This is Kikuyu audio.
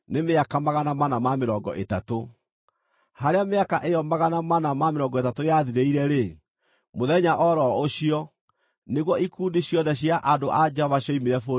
Harĩa mĩaka ĩyo 430 yathirĩire-rĩ, mũthenya o ro ũcio, nĩguo ikundi ciothe cia andũ a Jehova cioimire bũrũri wa Misiri.